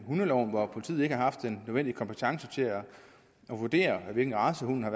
hundeloven hvor politiet ikke har haft den nødvendige kompetence til at vurdere hvilken race hunden har